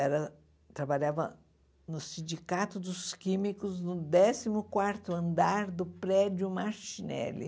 Era eu trabalhava no Sindicato dos Químicos, no décimo quarto andar do prédio Martinelli.